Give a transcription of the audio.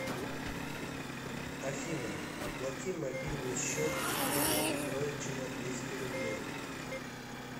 афина оплати мобильный счет евгения петровича на двести рублей